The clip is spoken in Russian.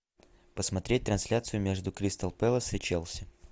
посмотреть трансляцию между кристал пэлас и челси